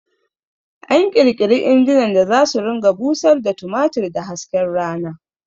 An ƙirƙiri injinan da zasu ringa busar da tumatir da hasken rana